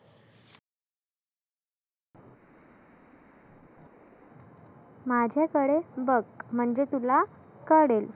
माझ्याकडे बघ म्हणजे तुला कळेन.